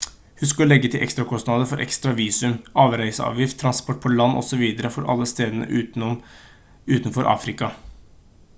husk å legge til ekstrakostnader for ekstra visum avreiseavgift transport på land osv for alle stedene utenfor afrika